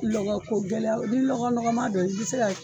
Lɔgɔ ko gɛlɛya ni lɔgɔ nɔgɔma do i bɛ se ka